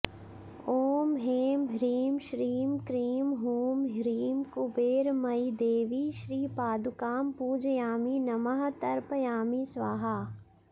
ॐ ऐं ह्रीं श्रीं क्रीं हूं ह्रीं कुबेरमयीदेवी श्रीपादुकां पूजयामि नमः तर्पयामि स्वाहा